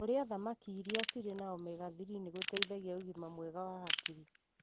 Kũrĩa thamaki iria cirĩ Omega-3 nĩgũteithagia ũgima mwega wa hakiri.